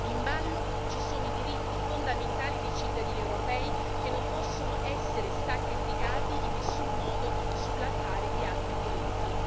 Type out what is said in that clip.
In ballo ci sono i diritti fondamentali dei cittadini europei che non possono essere sacrificati in nessun modo sull'altare di altri diritti.